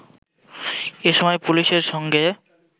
এসময় পুলিশের সঙ্গে